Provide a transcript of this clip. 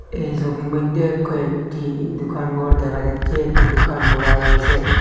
এই সবির মইধ্যে কয়েকটি দোকান ঘর দেখা যাচ্ছে একটি দোকান খোরা রয়েসে।